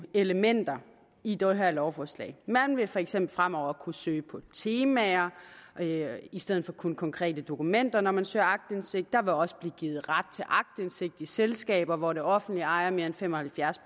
elementer i det her lovforslag man vil for eksempel fremover kunne søge på temaer i stedet for kun konkrete dokumenter når man søger aktindsigt der vil også blive givet ret til aktindsigt i selskaber hvor det offentlige ejer mere end fem og halvfjerds